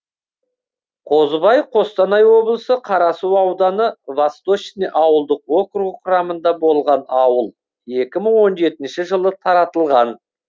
қозыбай қостанай облысы қарасу ауданы восточный ауылдық округі құрамында болған ауыл екі мың он жетінші жылы таратылған